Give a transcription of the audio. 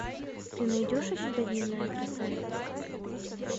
ты найдешь у себя дневная красавица